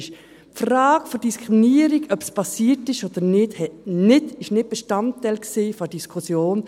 Die Frage der Diskriminierung, ob diese passiert ist oder nicht, war nicht Bestandteil der Diskussion.